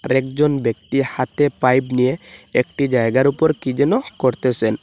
আরেকজন ব্যক্তি হাতে পাইপ নিয়ে একটি জায়গার ওপর কি যেন করতেসেন।